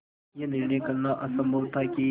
यह निर्णय करना असम्भव था कि